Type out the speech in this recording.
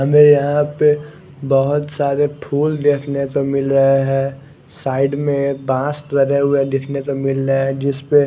हमे यहा पर बहोत सारे फुल देखने को मिल रहे है साइड में एक बास लगे हुए देखने को मिल रहा है जिसपे--